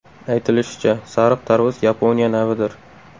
Aytilishicha, sariq tarvuz Yaponiya navidir.